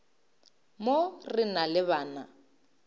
mo re na le bana